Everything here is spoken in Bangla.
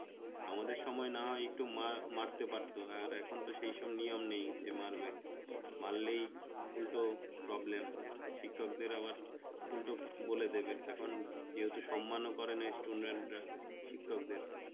আমাদের সময় না হয় একটু মা মারতে পারতো আর এখন তো সেসব নিয়ম নাই যে মারবে মারলেই উল্ট problem শিক্ষকদের আবার উল্টা বলে দেবে এখন কেউ তো সম্মান করে না student রা শিক্ষকদের